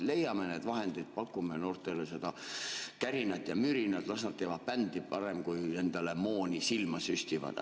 Leiame need vahendid, pakume noortele seda kärinat ja mürinat, las nad teevad parem bändi, kui endale mooni silma süstivad.